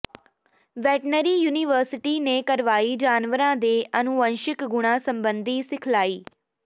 veterinary university ਨੇ ਕਰਵਾਈ ਜਾਨਵਰਾਂ ਦੇ ਅਣੂਵੰਸ਼ਿਕ ਗੁਣਾਂ ਸਬੰਧੀ ਸਿਖਲਾਈ